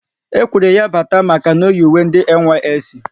E kwere ya bata maka na oyi uwe ndị NYSC